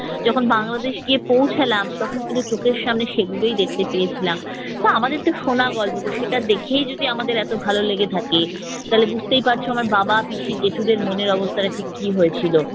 যখন বাংলাদেশ গিয়ে পৌঁছালাম তখন কিন্তু চোখের সামনে সেগুলোই দেখতে পেয়েছিলাম। তা আমাদের তো শোনা গল্প সেটা দেখেই যদি আমাদের এতো ভালো লেগে থাকে, তাহলে বুঝতেই পারছ আমার বাবা পিসি জেঠুদের মনের অবস্থাটা ঠিক কি হয়েছিল।